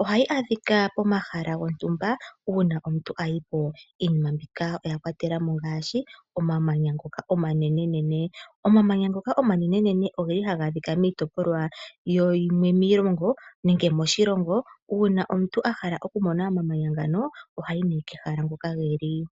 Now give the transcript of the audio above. Ohayi adhika pomahala gontumba uuna omuntu a yi po. Iinima mbika oya kwatela mo ngaashi omamanya ngoka omanenenene. Omamanya ngoka omanenenene ogeli haga adhika miitopolwa yimwe miilongo nenge moshilongo, uuna omuntu a hala okumona omamanya ngano ohayi nee kehala hoka ge li.